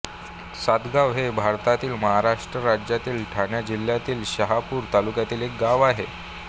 सातगाव हे भारतातील महाराष्ट्र राज्यातील ठाणे जिल्ह्यातील शहापूर तालुक्यातील एक गाव आहे